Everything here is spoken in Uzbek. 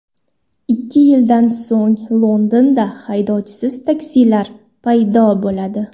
Ikki yildan so‘ng Londonda haydovchisiz taksilar paydo bo‘ladi.